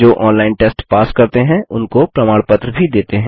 जो online test pass करते हैं उनको प्रमाण पत्र भी देते हैं